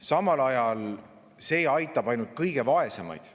Samal ajal aitab see ainult kõige vaesemaid.